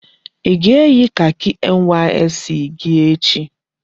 I ga-eyi kaki NYSC gị echi!